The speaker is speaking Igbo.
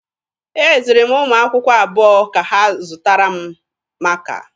Eziri m ụmụ akwụkwọ abụọ ka ha zụtara m maaka.